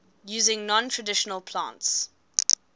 using non traditional plants